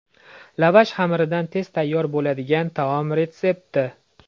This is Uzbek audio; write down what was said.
Lavash xamiridan tez tayyor bo‘ladigan taom retsepti.